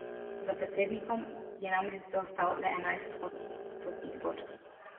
Za predsednikom je namreč zaostal le enajst odstotnih točk.